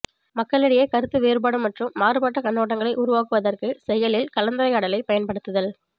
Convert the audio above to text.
மக்களிடையே கருத்து வேறுபாடு மற்றும் மாறுபட்ட கண்ணோட்டங்களை உருவாக்குவதற்கு செயலில் கலந்துரையாடலைப் பயன்படுத்துதல்